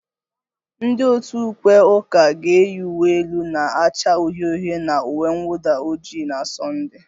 Ndị otu ukwe ụka ga-eyi uwe elu na-acha uhie uhie na uwe mwụda ojii na